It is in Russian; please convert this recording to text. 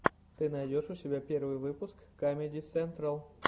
ты найдешь у себя первый выпуск камеди сентрал